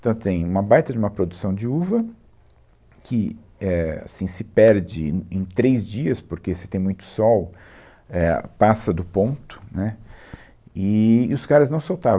Então, tem uma baita de uma produção de uva, que, éh, assim, se perde em, em em três dias, porque se tem muito sol, éh, passa do ponto, né, e, e os caras não soltavam.